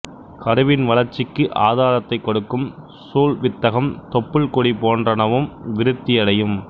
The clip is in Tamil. கருவின் வளர்ச்சிக்கு ஆதாரத்தைக் கொடுக்கும் சூல்வித்தகம் தொப்புள்கொடி போன்றனவும் விருத்தியடையும்